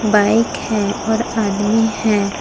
Bike हैं और आदमी हैं।